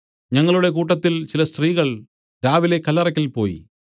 ഞങ്ങളുടെ കൂട്ടത്തിൽ ചില സ്ത്രീകൾ രാവിലെ കല്ലറയ്ക്കൽ പോയി